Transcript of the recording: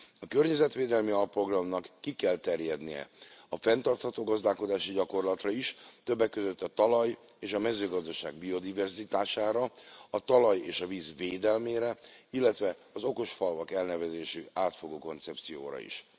A környezetvédelmi alprogramnak ki kell terjednie a fenntartható gazdálkodási gyakorlatra is, többek között a talaj és a mezőgazdaság biodiverzitására, a talaj és a víz védelmére, illetve az okos falvak elnevezésű átfogó koncepcióra is.